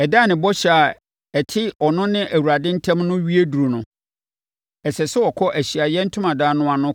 “Ɛda a ne bɔhyɛ a ɛte ɔno ne Awurade ntam no wie duru no, ɛsɛ sɛ ɔkɔ Ahyiaeɛ Ntomadan no ano